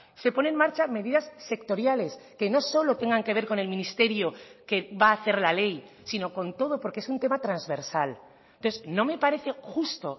se pone en marcha medidas sectoriales que no solo tengan que ver con el ministerio que va a hacer la ley sino con todo porque es un tema transversal entonces no me parece justo